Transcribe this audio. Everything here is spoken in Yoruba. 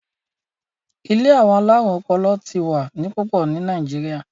ilé àwọn alarun ọpọlọ tí wá ní pupo ní Nàìjíríà